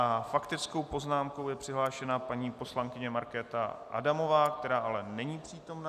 S faktickou poznámkou je přihlášena paní poslankyně Markéta Adamová, která ale není přítomna.